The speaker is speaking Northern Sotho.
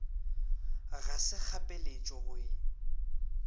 ga se kgapeletšego go e